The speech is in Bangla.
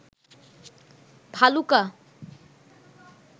ভালুকা